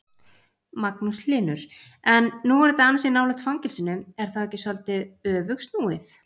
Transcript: Magnús Hlynur: En nú er þetta ansi nálægt fangelsinu, er þá ekki svolítið öfugsnúið?